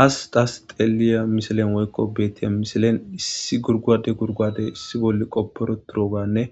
Ha daas xeliya misilen woykko beettiya misilen issi gurgwade gurguade issi bolle qopporo turoganne